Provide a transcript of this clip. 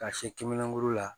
Ka se kiminankuru la